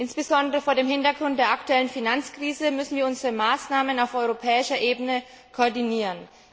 Insbesondere vor dem Hintergrund der aktuellen Finanzkrise müssen wir unsere Maßnahmen auf europäischer Ebene koordinieren.